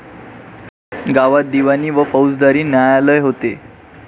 गावात दिवाणी व फौजदारी न्यायालय होते.